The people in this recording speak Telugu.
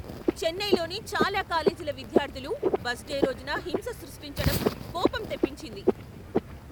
చెన్నైలోని చాలా కాలేజీల విద్యార్థులు బస్ డే రోజున హింస సృష్టించటం కోపం తెప్పించింది.